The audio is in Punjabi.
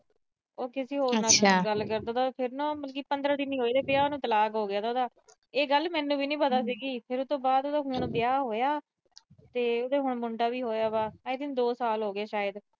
ਉਹ ਨਾ ਕਿਸੀ ਹੋਰ ਨਾਲ ਗੱਲ ਕਰਦਾ ਥਾ। ਪੰਦਰਾਂ ਦਿਨ ਵੀ ਨੀ ਹੋਏ ਉਹਦੇ ਵਿਆਹ ਨੂੰ, ਤਲਾਕ ਹੋ ਗਿਆ ਉਹਦਾ। ਇਹ ਗੱਲ ਮੈਨੂੰ ਵੀ ਨੀ ਪਤਾ ਸੀਗੀ, ਫਿਰ ਉਹ ਤੋਂ ਬਾਅਦ ਹੁਣ ਵਿਆਹ ਹੋਇਆ ਤੇ ਉਹਦੇ ਹੁਣ ਮੁੰਡਾ ਵੀ ਹੋਇਆ ਵਾ। ਦੋ ਸਾਲ ਹੋ ਗਏ ਸ਼ਾਇਦ।